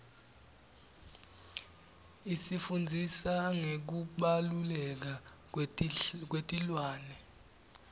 isifundzisa ngekubaluleka kwetilwane